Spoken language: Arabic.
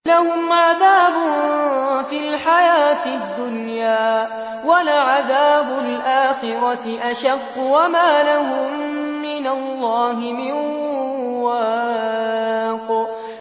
لَّهُمْ عَذَابٌ فِي الْحَيَاةِ الدُّنْيَا ۖ وَلَعَذَابُ الْآخِرَةِ أَشَقُّ ۖ وَمَا لَهُم مِّنَ اللَّهِ مِن وَاقٍ